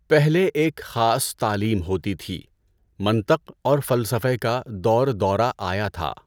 پہلے ایک خاص تعلیم ہوتی تھی۔ منطق اور فلسفہ کا دور دورہ آیا تھا۔